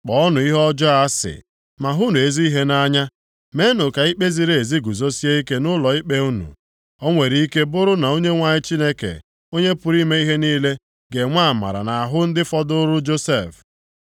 Kpọọnụ ihe ọjọọ asị, ma hụnụ ezi ihe nʼanya. Meenụ ka ikpe ziri ezi guzosie ike nʼụlọikpe unu. O nwere ike bụrụ na Onyenwe anyị Chineke Onye pụrụ ime ihe niile ga-enwe amara nʼahụ ndị fọdụụrụ Josef.